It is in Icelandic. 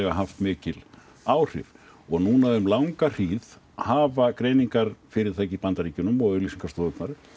haft mikil áhrif og núna um langa hríð hafa greiningarfyrirtæki í Bandaríkjunum og auglýsingastofur